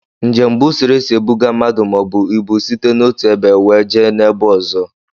Njem bu usoro esị ebuga mmadụ maọbu ịbụ site n'ọtu ebe wee jee na-ebe ọzọ.